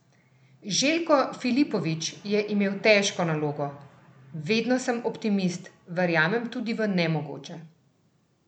Željko Filipović je imel težko nalogo: "Vedno sem optimist, verjamem tudi v nemogoče.